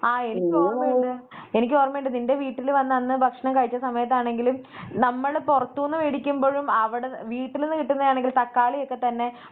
ആഹ എനിക്കോർമ്മയുണ്ട്, എനിക്കോർമ്മയുണ്ട് നിൻറെ വീട്ടില് വന്ന അന്ന് ഭക്ഷണം കഴിച്ച സമയത്താണെങ്കിലും നമ്മള് പൊറത്തൂന്നു മേടിക്കുമ്പഴും അവടെ വീട്ടില് നിന്ന് കിട്ടുന്നതാണെങ്കിൽ തക്കാളിയൊക്കെ തന്നെ